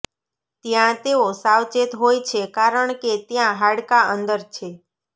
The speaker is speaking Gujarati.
ત્યાં તેઓ સાવચેત હોય છે કારણ કે ત્યાં હાડકાં અંદર છે